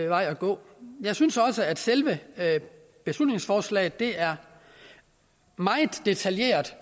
vej at gå jeg synes også at selve beslutningsforslaget er meget detaljeret